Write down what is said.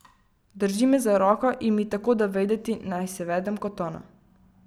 Drži me za roko in mi tako da vedeti, naj se vedem kot ona.